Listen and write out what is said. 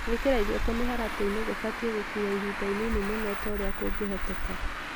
Gwĩkĩra irio tũmĩharatĩ-inĩ kũbatiĩ gũkuua ihinda inini mũno o ta ũrĩa kũngĩhoteka.